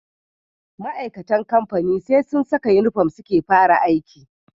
Ma'aikatan kamfani SE sun Saka inufom suke fara aiki